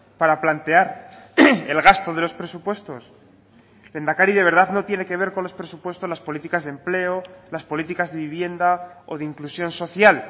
para plantear el gasto de los presupuestos lehendakari de verdad no tiene que ver con los presupuestos las políticas de empleo las políticas de vivienda o de inclusión social